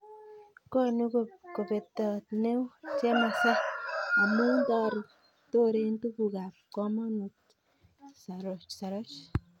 Konu kobetet neo chemasai amun toren tugukab komonut saroch.